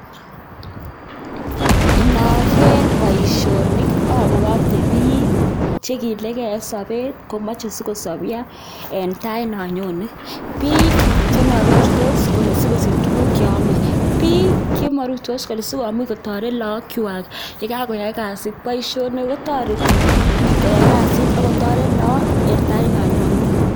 Nagere boisioni abuote piik chekiilike eng sopet komochei sikosopcho en tai no anyone, piik charusto asikosich tuguk cheame, piik chemarustos asikomuch kole kataret laakwach chekakoyai kasit poishoni kotoreti koyai kasit akotoret laak en tait no nyone